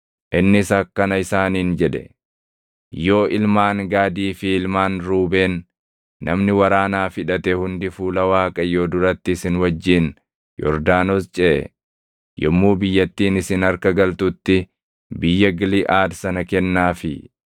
Innis akkana isaaniin jedhe; “Yoo ilmaan Gaadii fi ilmaan Ruubeen, namni waraanaaf hidhate hundi fuula Waaqayyoo duratti isin wajjin Yordaanos ceʼe, yommuu biyyattiin isin harka galtutti biyya Giliʼaad sana kennaafii.